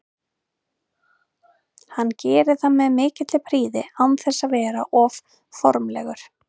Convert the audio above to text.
Hann gerir það með mikilli prýði án þess að vera of formlegur.